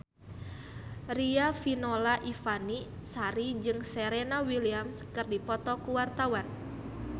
Riafinola Ifani Sari jeung Serena Williams keur dipoto ku wartawan